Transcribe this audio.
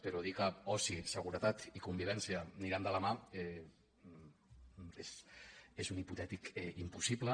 però dir que oci seguretat i convivència aniran de la mà és un hipotètic impossible